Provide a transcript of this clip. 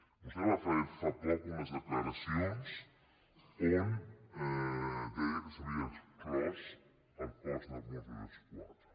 vostè va fer fa poc unes declaracions en què deia que s’havia exclòs el cos de mossos d’esquadra